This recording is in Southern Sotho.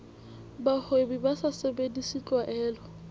bahwebi ba sa sebedise tlwaelo